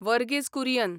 Verghese Kurien